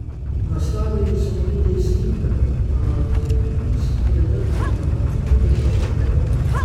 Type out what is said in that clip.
Nastavili so mu tudi stinger, a je kljub predrti pnevmatiki bežal naprej.